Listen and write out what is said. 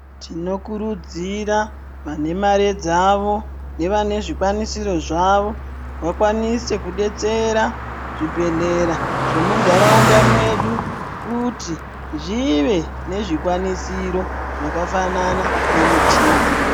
Tinokurudzira vane mare dzavo nevane zvikwanisiro zvavo vakwaninise kubetsera zvibhehlera zvemuntaraunda medu kuti zvive nezvikwanisiro zvakafanana nemichina.